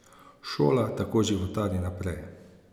Šola tako životari naprej.